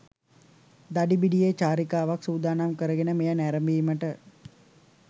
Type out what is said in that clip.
දඩිබිඩියේ චාරිකාවක් සුදානම් කරගෙන මෙය නැරඹීමට